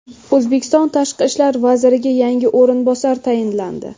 O‘zbekiston tashqi ishlar vaziriga yangi o‘rinbosar tayinlandi.